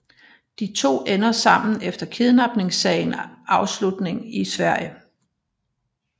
De to ender sammen efter kidnapningssagen afslutning i Sverige